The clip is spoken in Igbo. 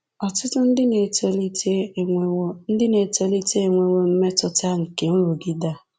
Ọtụtụ ndị na-etolite enwewo ndị na-etolite enwewo mmetụta nke nrụgide a